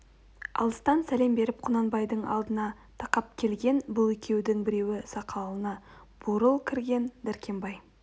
алыстан сәлем беріп құнанбайдың алдына тақап келген бұл екеудің біреу сақалына бурыл кірген дәркембай